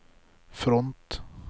front